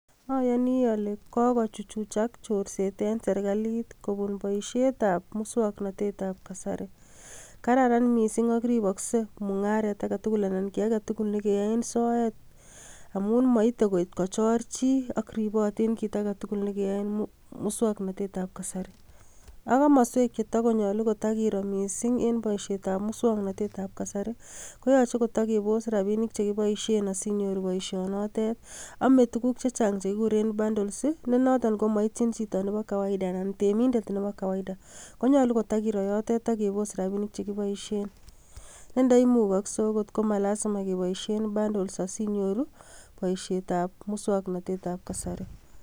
Oyoni ole kogochuchuchak chorset en serkalit kobun boisietab muswoknatetab kasari. Kararan mising ak riboksei mung'aret age tugul anan kiy agetugul ne keyoen soet moite koit kochor chi ak ribotin kit age tugul ne keyoen muswoknotetab kasari. Ak komoswek che togonyolu kotage iroo mising en boisietab muswoknotetab kasari koyoche kitokebos rabinik che kiboishen asi inyoru boishonotet. Ame tuguk chechang che kiguren bundles ne noton komoityin chito nebo kawaida anan temindet nebo kawaida konyolu kito kiroo yotet ak kebos rabinik che kiboishen. Ne ndoimukokse okot ko ma lazima keboishen bundles asiinyoru boisietab muswoknatetab kasari.